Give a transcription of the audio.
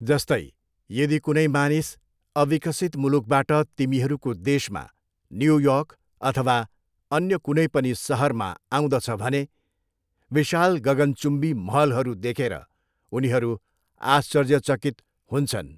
जस्तै, यदि कुनै मानिस अविकसित मुलुकबाट तिमीहरूको देशमा, न्यू योर्क अथवा अन्य कुनै पनि सहरमा आउँदछ भने विशाल गगनचुम्बी महलहरू देखेर उनीहरू आश्चर्यचकित हुन्छन्।